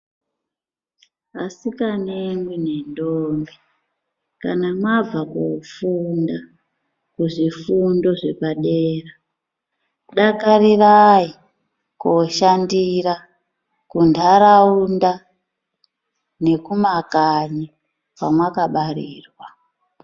Asikane nendombi kana mabva kofunda kuzvifundo zvepadera dakarirayi koshandira kundaraunda nekumakanyi kwamakabarirwa.